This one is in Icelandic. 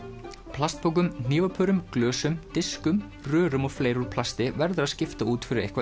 plastpokum hnífapörum glösum diskum rörum og fleiru úr plasti verður að skipta út fyrir eitthvað